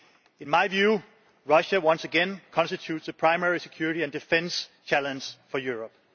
In my view, Russia once again constitutes a primary security and defence challenge for Europe.